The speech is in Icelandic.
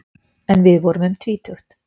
En við vorum um tvítugt.